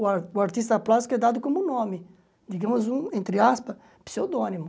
O ar o artista plástico é dado como nome, digamos, um entre aspas, pseudônimo.